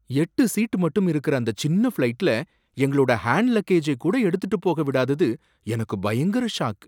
எட்டு சீட் மட்டும் இருக்குற அந்த சின்ன ஃப்ளைட்ல எங்களோட ஹேன்டு லக்கேஜை கூட எடுத்துட்டு போக விடாதது எனக்கு பயங்கர ஷாக்.